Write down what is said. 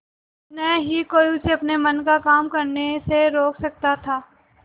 न ही कोई उसे अपने मन का काम करने से रोक सकता था